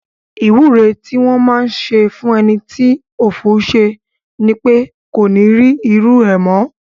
Ìwúre tí wọn máá ń ṣe fún ẹni tí ọ̀fọ̀ ṣẹ̀ ni pé kó ní rí irú rẹ̀ mọ́